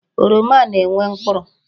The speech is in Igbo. Oroma na-enwe mkpụrụ.